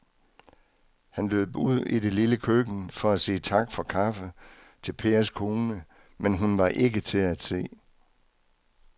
Han løb ud i det lille køkken for at sige tak for kaffe til Pers kone, men hun var ikke til at se.